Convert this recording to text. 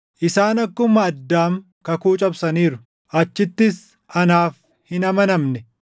Isaan akkuma Addaam kakuu cabsaniiru; achittis anaaf hin amanamne.